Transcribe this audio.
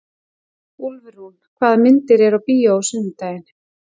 Úlfrún, hvaða myndir eru í bíó á sunnudaginn?